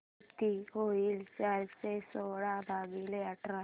किती होईल चारशे सोळा भागीले आठ